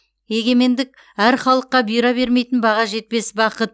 егемендік әр халыққа бұйыра бермейтін баға жетпес бақыт